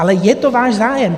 Ale je to váš zájem.